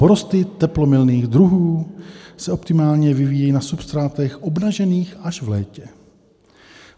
Porosty teplomilných druhů se optimálně vyvíjejí na substrátech obnažených až v létě.